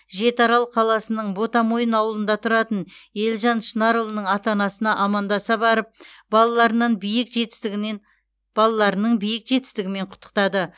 жетіарал қаласының ботамойын ауылында тұратын елжан шынарұлының ата анасына амандаса барып балаларынан биік жетістігімен балаларының биік жетістігімен құттықтады